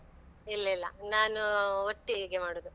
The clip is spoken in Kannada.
ಇಲ್ಲ್ ಇಲ್ಲ, ನಾನೂ ಒಟ್ಟಿಗೆ ಮಾಡುದು.